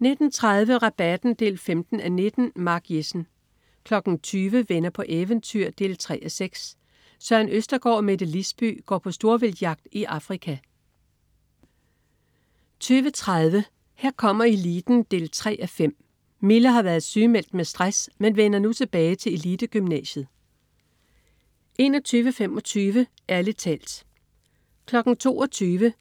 19.30 Rabatten 15:19. Mark Jessen 20.00 Venner på eventyr 3:6. Søren Østergaard og Mette Lisby går på storvildtsjagt i Afrika 20.30 Her kommer eliten 3:5. Mille har været sygemeldt med stress, men vender nu tilbage til elitegymnasiet 21.25 Ærlig talt 22.00